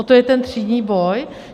O to je ten třídní boj?